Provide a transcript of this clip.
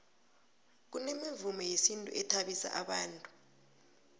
kunemivumo yesintu ethabisa bantu